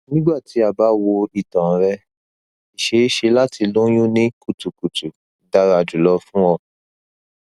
nigbati a ba wo itan rẹ iṣeeṣe lati loyun ni kutukutu dara julọ fun ọ